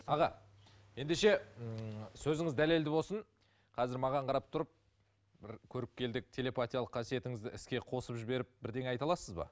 аға ендеше ммм сөзіңіз дәлелді болсын қазір маған қарап тұрып бір көріпкелдік телепатиялық қасиетіңізді іске қосып жіберіп бірдеңе айта аласыз ба